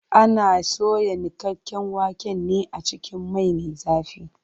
Ana soya niƙaƙƙen waken ne a cikin mai me zafi.